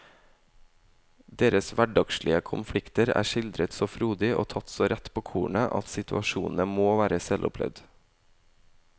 Deres hverdagslige konflikter er skildret så frodig og tatt så rett på kornet at situasjonene må være selvopplevd.